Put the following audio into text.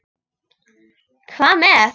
Hvað með.